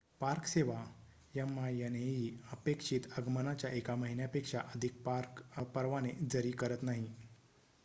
park सेवा minae अपेक्षित आगमनाच्या एका महिन्यापेक्षा अधिक पार्क परवाने जरी करत नाही